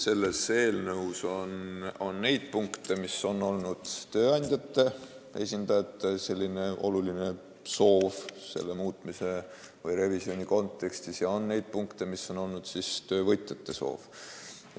Nii et eelnõus on punkte, mis on olnud tööandjate esindajate oluline soov selle muutmise või revisjoni kontekstis, ja on punkte, mis on olnud töövõtjate soov.